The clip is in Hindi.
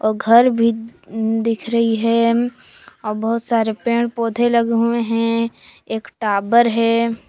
और घर भी दिख रही है और बहुत सारे पेड़ पौधे लगे हुए हैं एक टाबर है।